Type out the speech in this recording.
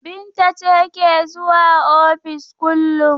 Binta ce ke zuwa ofis kullum.